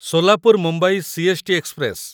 Solapur Mumbai CST. Express